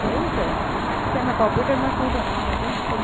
એવું છે. શેમાં computer માં શું ભણવાનું હોય એટલે?